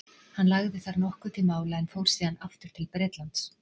Hann lagði þar nokkuð til mála en fór síðan aftur til Bretlands.